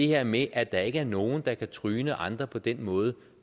her med at der ikke er nogen der kan tryne andre på den måde